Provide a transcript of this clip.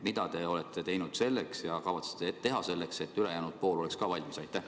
Mida te olete teinud ja kavatsete teha selleks, et ka ülejäänud pool oleks valmis?